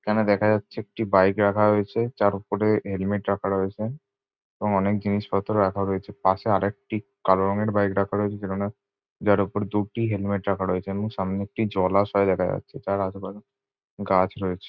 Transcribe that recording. এখানে দেখা যাচ্ছে একটি বাইক রাখা রয়েছে যার উপরে হেলমেট রাখা রয়েছে এবং অনেক জিনিসপত্র রাখা রয়েছে। পাশে আরেকটি কালো রঙের বাইক রাখা রয়েছে যেখানে যার উপর দুটি হেলমেট রাখা রয়েছে এবং সামনে একটি জলাশয় দেখা যাচ্ছে যার আশেপাশে গাছ রয়েছে।